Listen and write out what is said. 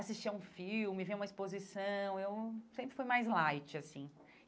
assistia a um filme, via uma exposição, eu sempre fui mais light, assim.